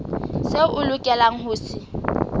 seo o lokelang ho se